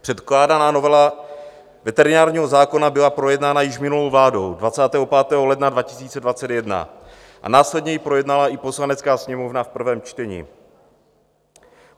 Předkládaná novela veterinárního zákona byla projednána již minulou vládou 25. ledna 2021 a následně ji projednala i Poslanecká sněmovna v prvém čtení.